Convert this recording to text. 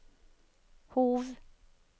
Hov